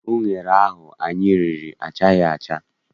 Unere ahụ anyị riri achaghị acha.